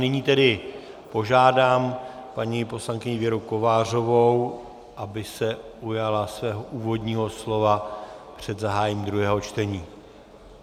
Nyní tedy požádám paní poslankyni Věru Kovářovou, aby se ujala svého úvodního slova před zahájením druhého čtení.